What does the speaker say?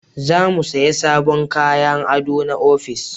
Za mu saya sabon kayan ado na ofis